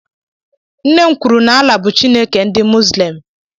Nne m kwuru n'Alah bụ Chineke ndị Muzlem.